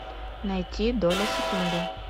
найти доля секунды